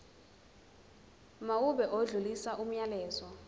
mawube odlulisa umyalezo